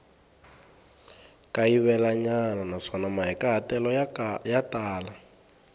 kayivelanyana naswona mahikahatelo ya tala